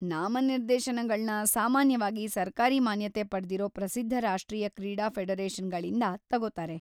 ನಾಮನಿರ್ದೇಶನಗಳ್ನ ಸಾಮಾನ್ಯವಾಗಿ ಸರ್ಕಾರಿ ಮಾನ್ಯತೆ ಪಡ್ದಿರೋ ಪ್ರಸಿದ್ಧ ರಾಷ್ಟ್ರೀಯ ಕ್ರೀಡಾ ಫೆಡರೇಷನ್‌ಗಳಿಂದ ತಗೋತಾರೆ.